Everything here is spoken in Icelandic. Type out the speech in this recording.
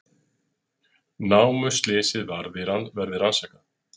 Námuslysið verði rannsakað